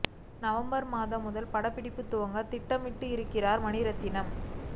November மாதம் முதல் படப்பிடிப்பு துவங்க திட்டமிட்டு இருக்கிறார் மணிரத்னம்